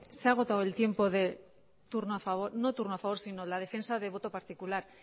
se ha agotado el tiempo de turno a favor no de turno a favor sino la defensa de voto particular